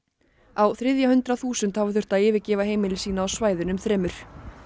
á þriðja hundrað þúsund hafa þurft að yfirgefa heimili sín á svæðunum þremur